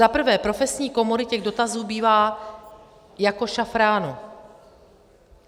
Za prvé profesní komory, těch dotazů bývá jako šafránu.